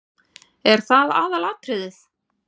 Er það aðalatriðið?